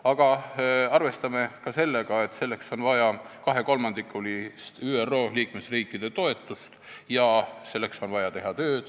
Aga arvestame ka sellega, et selleks on vaja kahe kolmandiku ÜRO liikmesriikide toetust ja selleks on vaja teha tööd.